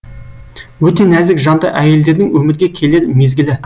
өте нәзік жанды әйелдердің өмірге келер мезгілі